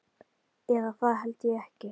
Eða það held ég ekki.